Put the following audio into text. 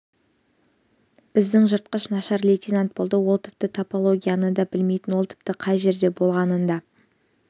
біздің жыртқыш нашар лейтенант болды ол тіпті топографияны да білмейтін ол тіпті қай жерде болғанын да